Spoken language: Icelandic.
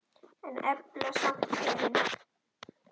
En efla samt herinn.